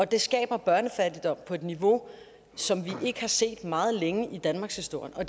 det skaber børnefattigdom på et niveau som vi ikke har set meget længe i danmarkshistorien og